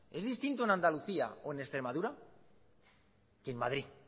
es distinto en andalucía o en extremadura que en madrid